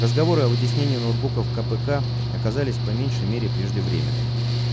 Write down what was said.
разговоры о вытеснении ноутбуков кпк оказались по меньшей мере преждевременными